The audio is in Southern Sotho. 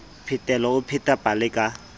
phetelo o pheta pale ka